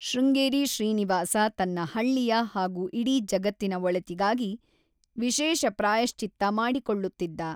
ಶೃಂಗೇರಿ ಶ್ರೀನಿವಾಸ ತನ್ನ ಹಳ್ಳಿಯ ಹಾಗೂ ಇಡೀ ಜಗತ್ತಿನ ಒಳಿತಿಗಾಗಿ ವಿಶೇಷ ಪ್ರಾಯಶ್ಚಿತ್ತ ಮಾಡಿಕೊಳ್ಳುತ್ತಿದ್ದ.